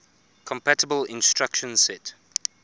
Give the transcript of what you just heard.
compatible instruction set